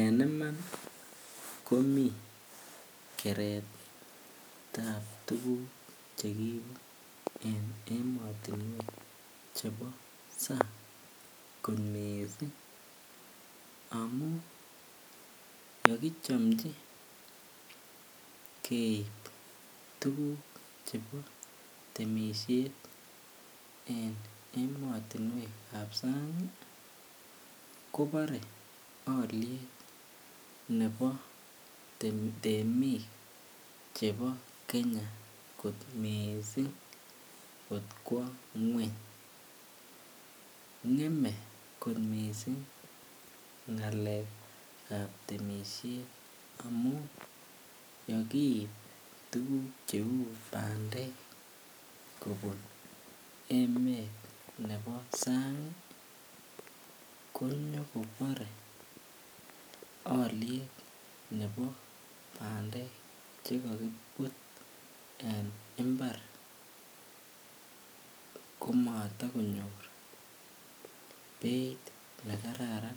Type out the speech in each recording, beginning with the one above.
En iman komii keretab tuguk chekiibu en emotinyek chebo sang kot miissing amun yekichomchi keib tuguk chebo temisiet en emotinwek chebo sang kobore alyet ne bo temik chebo kenya ng'em ko missing ng'alekab temisiet amun yeikiip tuguk cheu bandek kobun emet ne bo sang ii konyo kobore alyet ne bo bandek cheko kibut en mbar komoto konyor beit nekararan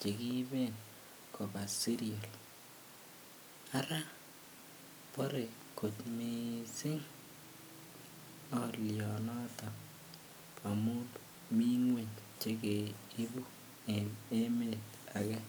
chekiiben kobaa serial, ara bore kot missing alyonoton amun mii ngweny chekeibu en emet agee.